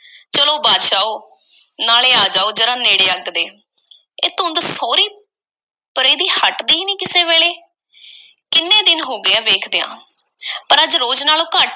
ਚੱਲੋ ਬਾਦਸ਼ਾਓ, ਨਾਲੇ ਆ ਜਾਓ ਜ਼ਰਾ ਨੇੜੇ ਅੱਗ ਦੇ। ਇਹ ਧੁੰਦ ਸਹੁਰੀ ਪਰੇ ਦੀ ਹੱਟਦੀ ਨਹੀਂ ਕਿਸੇ ਵੇਲ਼ੇ, ਕਿੰਨੇ ਦਿਨ ਹੋ ਗਏ ਐ, ਵੇਖਦਿਆਂ।” ਪਰ ਅੱਜ ਰੋਜ਼ ਨਾਲੋਂ ਘੱਟ